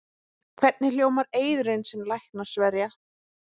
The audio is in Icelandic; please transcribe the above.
Hvernig hljómar eiðurinn sem læknar sverja?